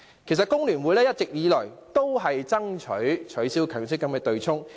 其實，工聯會一直以來都爭取取消強積金對沖機制。